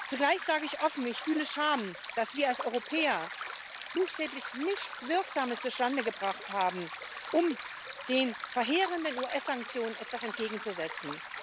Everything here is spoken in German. Zugleich sage ich offen Ich fühle Scham, dass wir als Europäer buchstäblich nichts Wirksames zustande gebracht haben, um den verheerenden US Sanktionen etwas entgegenzusetzen.